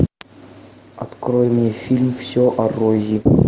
открой мне фильм все о рози